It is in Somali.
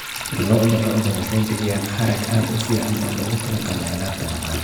Lo'da lo'da waxay bixiyaan harag aad u fiican oo loogu talagalay alaabta maqaarka.